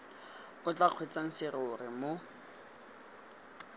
o tla kgweetsang serori mo